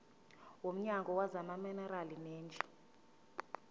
womnyango wezamaminerali neeneji